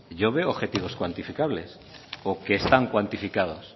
yo veo objetivos cuantificables o que están cuantificados